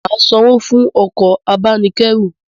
Màa sanwó fún okò abánikérù